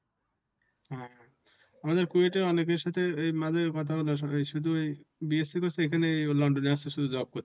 হ্যা আমাদের কুয়েতে এর অনেকের সাথে এর মাঝে কথা হলো শুধু এই BSC করছে এখানে লন্ডনে আসছে শুধু job করতে।